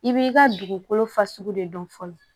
I b'i ka dugukolo fasugu de dɔn fɔlɔ